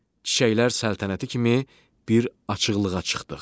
Çiçəklər səltənəti kimi bir açıqlığa çıxdıq.